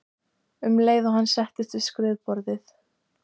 um leið og hann settist við skrifborðið.